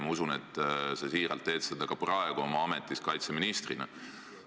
Ma usun, et sa siiralt teed seda ka praegu oma ametis kaitseministrina.